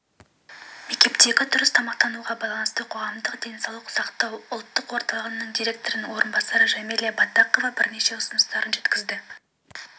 мектептегі дұрыс тамақтануға байланысты қоғамдық денсаулық сақтау ұлттық орталығы директорының орынбасары жамиля баттақова бірнеше ұсыныстарын жеткізді